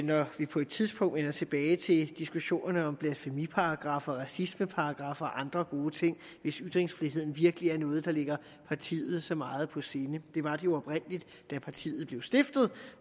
når vi på et tidspunkt vender tilbage til diskussionerne om blasfemiparagraffer og racismeparagraffer og andre gode ting hvis ytringsfriheden virkelig er noget der ligger partiet så meget på sinde det var det jo oprindelig da partiet blev stiftet